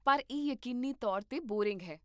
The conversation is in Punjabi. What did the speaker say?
ਪਰ ਇਹ ਯਕੀਨੀ ਤੌਰ 'ਤੇ ਬੋਰਿੰਗ ਹੈ